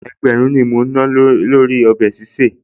Ẹgbẹ̀rún ni mo ná lórí ọbẹ̀ sísè